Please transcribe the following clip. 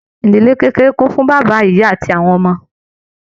Ìdílé kékeré kún fún bàbá, ìyá àti àwọn ọmọ.